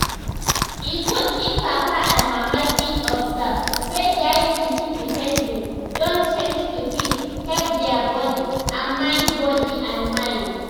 e good if papa and mama fit observe sey dia pikin behavior don change to fit help dia body and mind body and mind